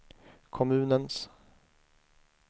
kommunens